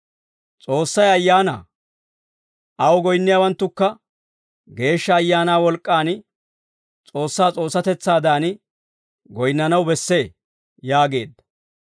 S'oossay Ayaanaa; aw goyinniyaawanttukka Geeshsha Ayaanaa wolk'k'aan S'oossaa S'oossatetsaadan goyinnanaw bessee» yaageedda.